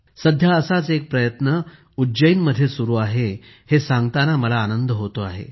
सध्या असाच एक प्रयत्न उज्जैनमध्ये सुरु आहे हे सांगताना मला आनंद होतो आहे